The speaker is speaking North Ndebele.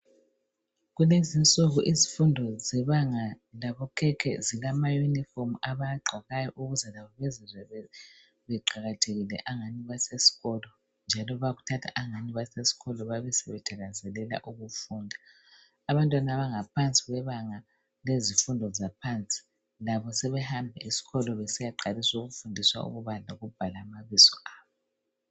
Kulezinsuku izifundo zebanga labokhekhe zilama uniform abagqokayo ukwenzela ukuthi bazizwe beqakathekile angathi basesikolo njalo bayakuthatha angathi basesikolo babe sebethakazelela ukufunda abantwana abangaphandi kwebanga lezifundo zaphansi labo sebehamba esikolo besiyaqalisa ukufundiswa ukubala lokubhala amabizo abo.